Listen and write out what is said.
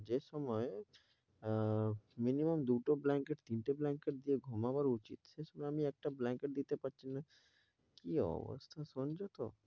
যে সময় ah minimum দুটো blanket তিনটে blanket দিয়া ঘুমাবার উচিত সে সময় আমি একটা blanket দিতে পারছিনা কি অবস্থা শুনছো তো।